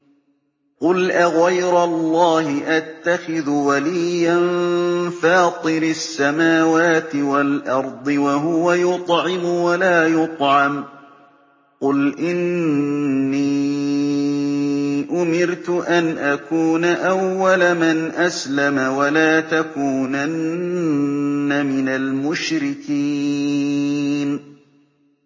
قُلْ أَغَيْرَ اللَّهِ أَتَّخِذُ وَلِيًّا فَاطِرِ السَّمَاوَاتِ وَالْأَرْضِ وَهُوَ يُطْعِمُ وَلَا يُطْعَمُ ۗ قُلْ إِنِّي أُمِرْتُ أَنْ أَكُونَ أَوَّلَ مَنْ أَسْلَمَ ۖ وَلَا تَكُونَنَّ مِنَ الْمُشْرِكِينَ